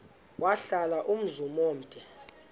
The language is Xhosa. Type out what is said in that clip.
wahlala umzum omde